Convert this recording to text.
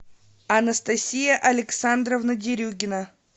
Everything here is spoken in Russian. анастасия александровна дерюгина